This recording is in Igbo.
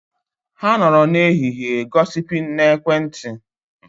Ha nọrọ n'ehihie gosiping na ekwentị